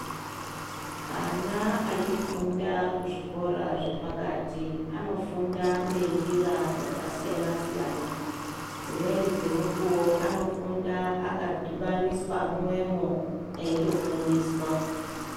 Ana achifunda kuzvikora zvepakatai anofunda ngenjira dzakasiyana siyana, dzimweni dzemukuwo anofunda akadhibaniswa mumwemo eitofundiswa.